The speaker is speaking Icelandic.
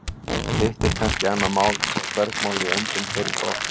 hitt er kannski annað mál hvort bergmál í öndum heyrist oft